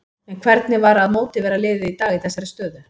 En hvernig var að mótivera liðið í dag í þessari stöðu?